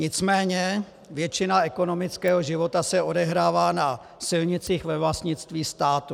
Nicméně většina ekonomického života se odehrává na silnicích ve vlastnictví státu.